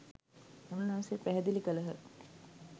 උන්වහන්සේ පැහැදිලි කළහ